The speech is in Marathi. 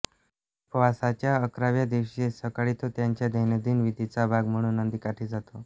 उपवासाच्या अकराव्या दिवशी सकाळी तो त्याच्या दैनंदिन विधीचा भाग म्हणून नदीकाठी जातो